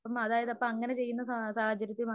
മാതാപിതാ അപ്പോഅങ്ങനെ ചെയ്യുന്ന സാഹചര്യത്തിൽ